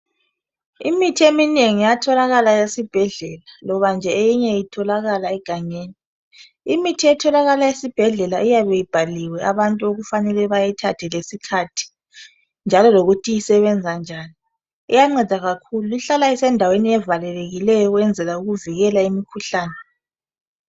Imithi eminengi iyatholakala esibhedlela loba nje eyinye itholakala egangeni. Imithi etholakala esibhedlela iyabe ibhaliwe abantu okufanele bayithathe lesikhathi ,njalo lokuthi isebenza njani. Iyanceda kakhulu. Ihlala isendaweni ezivalekileyo ukwenzela ukuvikela imikhuhlane.